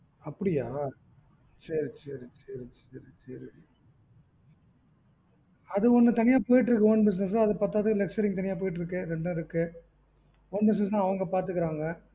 அப்படியா சரி சரி அது தனியா போயிட்டு இருக்கு own business அது பத்தாதுக்கு lecturing தனியா போயிட்டு இருக்கு own business வந்து அவங்க பதுக்கிடுறாங்க